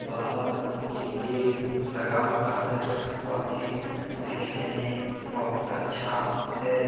बाहर एक गे लगा हुआ है । वह गे देखने में बहुत अच्छा है ।